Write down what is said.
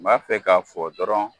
N b'a fɛ k'a fɔ dɔrɔn